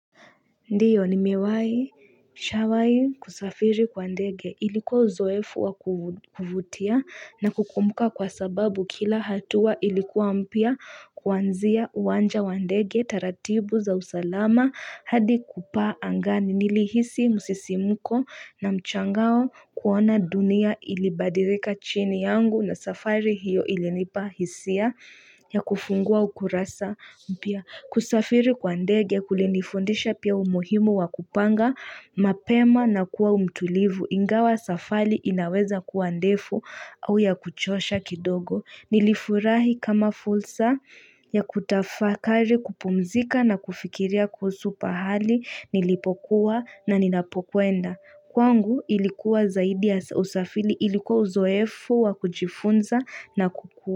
Ndiyo ni miwai shawai kusafiri kwa ndege ilikuwa uzoefu wakuvutia na kukumuka kwa sababu kila hatua ilikuwa mpya kuanzia uwanja wandege taratibu za usalama hadi kupaa angani nili hisi musisimuko na mchangao kuona dunia ilibadirika chini yangu na safari hiyo ilinipahisia ya kufungua ukurasa mpia. Kusafiri kwa ndege kulinifundisha pia umuhimo wa kupanga mapema na kuwa utulivu ingawa safali inaweza kuwa ndefu au ya kuchosha kidogo. Nilifurahi kama fulsa ya kutafakari kupumzika na kufikiria kwa supahali nilipokuwa na ninapokuenda. Kwangu ilikuwa zaidi ya usafiri ilikuwa uzoefu wa kujifunza na kukua.